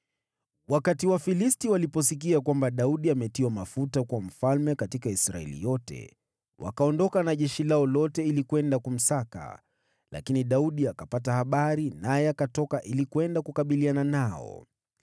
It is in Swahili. Wafilisti waliposikia kuwa Daudi ametiwa mafuta kuwa mfalme wa Israeli yote, wakapanda na jeshi lao lote kwenda kumsaka, lakini Daudi akapata habari hizo, naye akatoka ili kwenda kukabiliana nao.